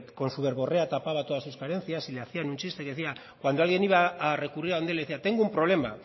con su verborrea tapaba todas sus carencias y le hacían un chiste y cuando alguien iba a recurrir a donde el le decía tengo un problema